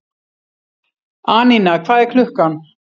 Anína, hvað er klukkan?